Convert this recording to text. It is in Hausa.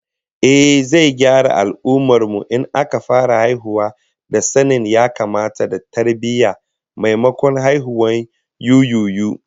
Ehh, zai gyara al'ummar mu in aka fara haihuwa ta sanin ya-kamata da tarbiyyah, maimakon haihuwar yuyuyu